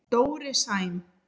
Dóri Sæm.